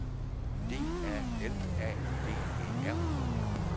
D A L A G E R